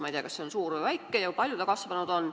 Ma ei tea, kas see on suur või väike ja kui palju see kasvanud on.